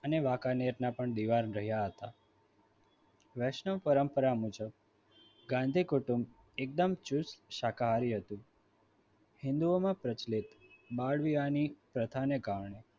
અને વાંકાનેરના પણ દિવાન રહ્યા હતા વૈષ્ણવ પરંપરા મુજબ ગાંધી કુટુંબ એકદમ ચુસ્ત શાકાહારી હતું હિન્દુઓમાં પ્રચલિત બાળ વીવાને પ્રથાને પણ